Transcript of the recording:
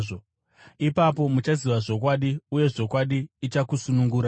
Ipapo muchaziva zvokwadi, uye zvokwadi ichakusunungurai.”